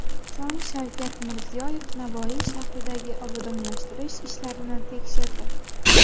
So‘ng Shavkat Mirziyoyev Navoiy shahridagi obodonlashtirish ishlarini tekshirdi.